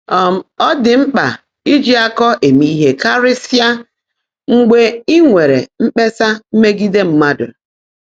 um Ọ́ ḍị́ mkpã íjí ákọ́ émé íhe kárị́sị́á mgbe í nwèrè mkpèsá meègídé mmádụ́.